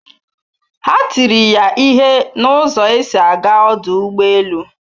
Ha tiri ya ihe na ụzọ esi aga ọdụ ụgbọ elu